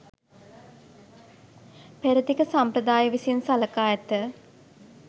පෙරදිග සම්ප්‍රදාය විසින් සලකා ඇත.